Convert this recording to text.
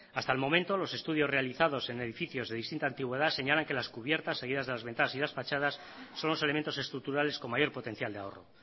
hasta el momento los estudios realizados en edificios de distinta antigüedad señalan que las cubiertas seguidas de las ventanas y las fachadas son los elementos estructurales con mayor potencial de ahorro